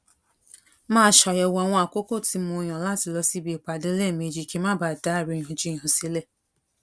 máa ṣàyèwò àwọn àkókò tí mo yàn láti lọ síbi ìpàdé léèmejì kí n má bàa da àríyànjiyàn sílè